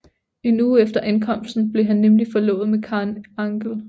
En uge efter ankomsten blev han nemlig forlovet med Karen Angell